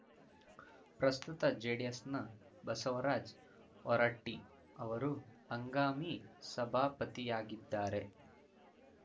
ಪ್ರಸ್ತುತ ಜೆಡಿಎಸ್‌ನ ಬಸವರಾಜ್ ಹೊರಟ್ಟಿಅವರು ಹಂಗಾಮಿ ಸಭಾಪತಿಯಾಗಿದ್ದಾರೆ